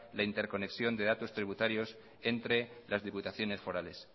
la interconexión de datos tributarios entre las diputaciones forales